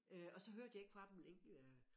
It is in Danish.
Øh og så hørte jeg ikke fra dem længe øh